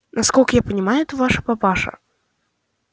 насколько я понимаю это ваш папаша